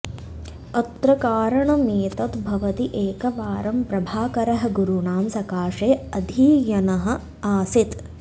अत्र कारणमेतद् भवति एकवारं प्रभाकरः गुरुणां सकाशे अधीयनः आसीत्